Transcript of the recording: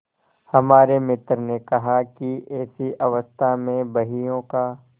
हमारे मित्र ने कहा कि ऐसी अवस्था में बहियों का